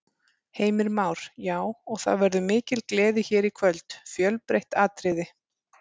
Heimir Már: Já, og það verður mikil gleði hér í kvöld, fjölbreytt atriði?